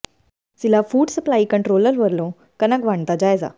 ਜ਼ਿਲ੍ਹਾ food supply controller ਵੱਲੋਂ ਕਣਕ ਵੰਡ ਦਾ ਜਾਇਜ਼ਾ